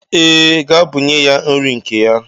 Ee, gaa bunye ya nri nke ya.